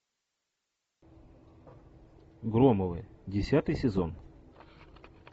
громовы десятый сезон